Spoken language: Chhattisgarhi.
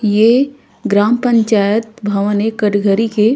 ये ग्राम पंचायत भवन ए कटघड़ी के--